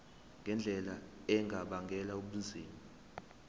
ngendlela engabangela ubunzima